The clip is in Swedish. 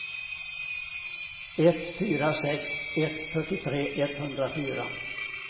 ett fyra sex ett fyrtiotre etthundrafyra